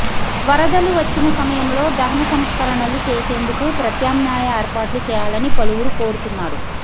వరదలు వచ్చిన సమయంలో దహన సంస్కరణలు చేసేందుకు ప్రత్యామ్నాయ ఏర్పాట్లు చేయాలని పలువురు కోరుతున్నారు